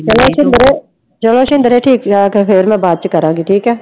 ਚਲੋ ਸਿੰਦਰ ਚਲੋ ਸਿੰਦਰ ਠੀਕ ਹੈ ਤੇ ਫਿਰ ਮੈਂ ਬਾਅਦ ਚ ਕਰਾਂਗੀ ਠੀਕ ਹੈ।